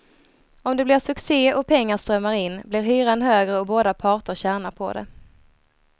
Om det blir succé och pengar strömmar in, blir hyran högre och båda parter tjänar på det.